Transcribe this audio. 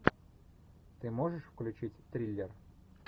ты можешь включить триллер